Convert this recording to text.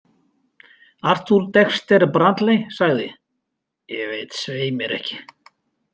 Arthur Dexter Bradley sagði: Ég veit svei mér ekki.